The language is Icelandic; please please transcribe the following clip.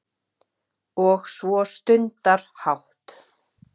Og svo stundarhátt